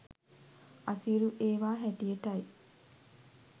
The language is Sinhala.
අසීරු ඒවා හැටියටයි.